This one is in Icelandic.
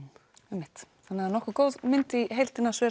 einmitt þannig nokkuð góð mynd í heildina